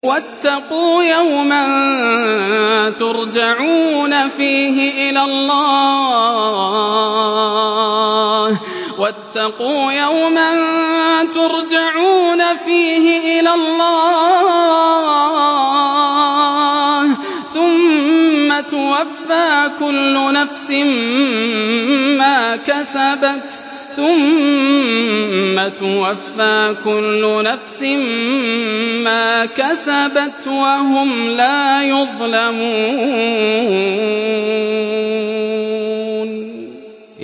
وَاتَّقُوا يَوْمًا تُرْجَعُونَ فِيهِ إِلَى اللَّهِ ۖ ثُمَّ تُوَفَّىٰ كُلُّ نَفْسٍ مَّا كَسَبَتْ وَهُمْ لَا يُظْلَمُونَ